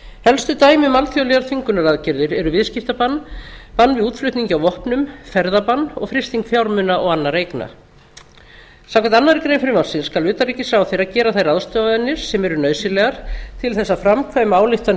helstu dæmi um alþjóðlegar þvingunaraðgerðir er viðskiptabann bann við útflutningi á vopnum ferðabann og frysting fjármuna og annarra eigna samkvæmt annarri grein frumvarpsins skal utanríkisráðherra gera þær ráðstafanir sem eru nauðsynlegar til þess að framkvæma ályktanir